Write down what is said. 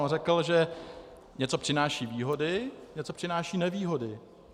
On řekl, že něco přináší výhody, něco přináší nevýhody.